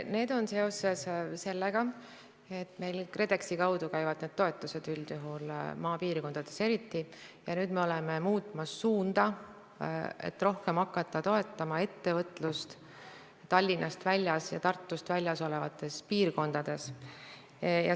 See on seotud sellega, et meil käivad need toetused üldjuhul KredExi kaudu, maapiirkondades eriti, ja nüüd me oleme muutmas suunda, et hakata rohkem toetama ettevõtlust Tallinnast ja Tartust väljaspool asuvates piirkondades.